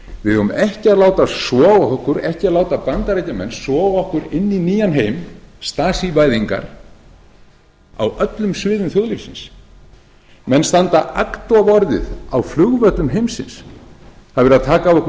við eigum ekki að láta bandaríkjamenn soga okkur inn í nýjan heim stasívæðingar á öllum sviðum þjóðfélagsins menn standa agndofa orðið á flugvöllum heimsins það er verið að taka